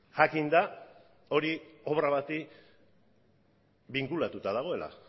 jakinda hori obra bati binkulatuta dagoela